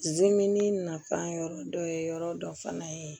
nafan yɔrɔ dɔ ye yɔrɔ dɔ fana ye